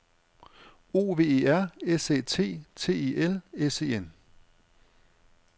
O V E R S Æ T T E L S E N